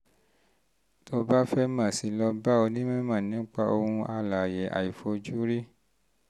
tó o bá fẹ́ mọ̀ sí i lọ bá onímọ̀ nípa ohun alààyè àìfojúrí